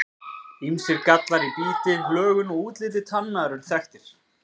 Ýmsir gallar í biti, lögun og útliti tanna eru þekktir.